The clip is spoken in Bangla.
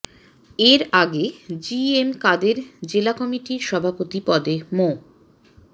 এর আগে জি এম কাদের জেলা কমিটির সভাপতি পদে মো